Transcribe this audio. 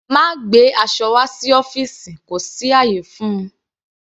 Má gbé aṣọ wá sí ọ́fìsì kò sí ayé fún-un.